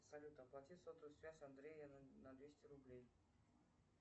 салют оплати сотовую связь андрея на двести рублей